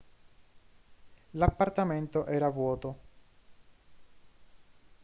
l'appartamento era vuoto